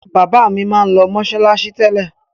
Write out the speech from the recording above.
Bàbá mi máa ń lọ mọ́ṣáláṣí tẹ́lẹ̀.